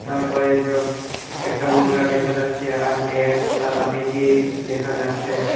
তারপরে একজন একটা দেখা যাচ্ছে আর ম্যাক্স টাটা মেজিক দেখা যাচ্ছে।